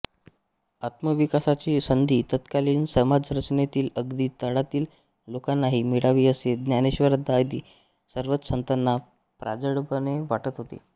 आत्मविकासाची संधी तत्कालीन समाजरचनेतील अगदी तळातील लोकांनाही मिळावी असे ज्ञानेश्र्वरादी सर्वच संतांना प्रांजळपणे वाटत होते